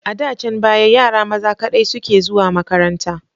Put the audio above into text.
A dcan baya yara maza kaɗai suke zuwa makaranta.